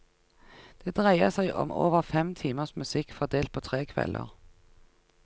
Det dreier seg om over fem timers musikk fordelt på tre kvelder.